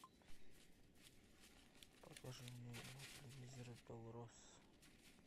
покажи мне на телевизоре белрос